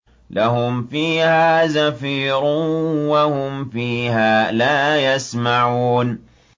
لَهُمْ فِيهَا زَفِيرٌ وَهُمْ فِيهَا لَا يَسْمَعُونَ